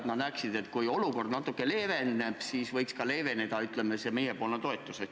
Vahest nad arvavad, et kui olukord natukene leeveneb, siis võiks ka leeveneda, ütleme, see meiepoolne toetus.